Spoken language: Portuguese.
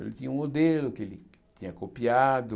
Ele tinha um modelo que ele tinha copiado.